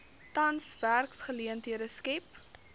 tans werksgeleenthede skep